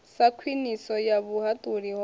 sa khwiniso ya vhuhaṱuli ho